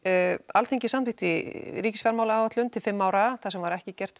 Alþingi samþykkti ríkisfjármálaáætlun til fimm ára þar sem ekki var gert